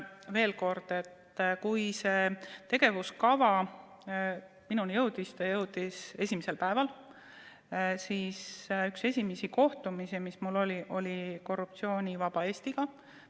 Ütlen veel kord, et kui see tegevuskava minuni jõudis – see jõudis esimesel päeval –, siis üks esimesi kohtumisi oli mul Korruptsioonivaba Eestiga.